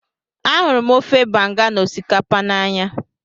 Ahụrụ m ofe banga na osikapa n'anya